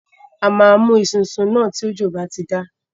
A máa mú esunsun tí òjò náà bá ti dá.